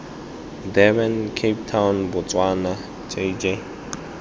durban cape town botswana jj